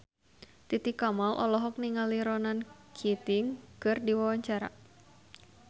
Titi Kamal olohok ningali Ronan Keating keur diwawancara